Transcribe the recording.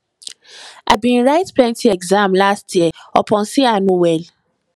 i bin write plenty exam last year upon sey i no well